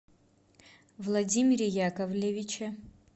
владимире яковлевиче